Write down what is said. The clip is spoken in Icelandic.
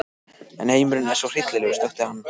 En heimurinn er svo hryllilegur, snökti hann.